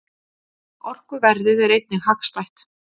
Orkuverðið er einnig hagstætt.